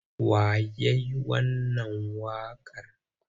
Wa ya yi wannan waƙar?